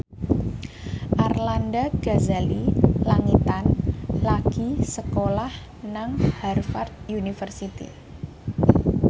Arlanda Ghazali Langitan lagi sekolah nang Harvard university